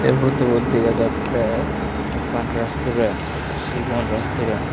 eei photobot dega jattey ekkan restaurant sigon restorent.